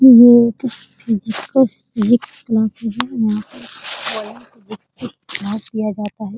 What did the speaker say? यह एक क्लासेस है यहाँ पे विकसित क्लास लिया जाता है ।